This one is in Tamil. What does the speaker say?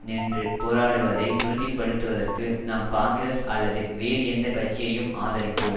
நின்று போராடுவதை உறுதிப்படுத்துதற்கு நாம் காங்கிரஸ் அல்லது வேறு எந்த கட்சியையும் ஆதரிப்போம்